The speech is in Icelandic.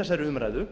þessari umræðu